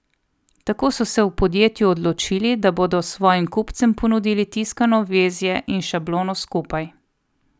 Tako so se v podjetju odločili, da bodo svojim kupcem ponudili tiskano vezje in šablono skupaj.